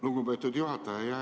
Lugupeetud juhataja!